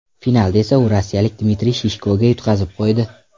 Finalda esa u rossiyalik Dmitriy Shishkoga yutqazib qo‘ydi.